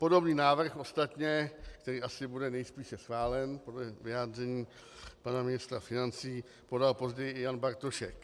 Podobný návrh ostatně, který asi bude nejspíše schválen podle vyjádření pana ministra financí, podal později i Jan Bartošek.